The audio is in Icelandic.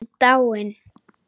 Dáin?